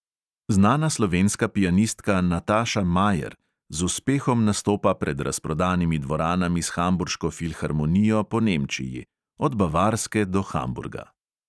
Znana slovenska pianistka nataša majer z uspehom nastopa pred razprodanimi dvoranami s hamburško filharmonijo po nemčiji – od bavarske do hamburga.